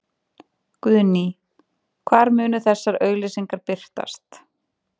Guðný: Hvar munu þessar auglýsingar birtast?